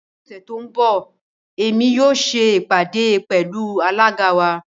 Ní òṣè tó nbọ̀, èmi yóò ṣè ipádé pẹ̀lú alága wa.